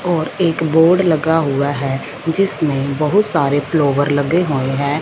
और एक बोर्ड लगा हुआ है जिसमें बहुत सारे फ्लावर लगे हुए हैं।